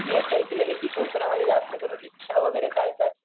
मी असं ऐकलेलं कोकणामध्ये जास्त करून रिक्षा वैगेरे चालतात.